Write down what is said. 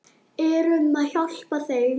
Erum við að hjálpa þeim?